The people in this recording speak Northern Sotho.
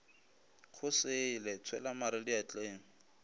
go sele tshwela mare diatleng